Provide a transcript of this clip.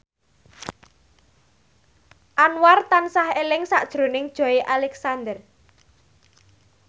Anwar tansah eling sakjroning Joey Alexander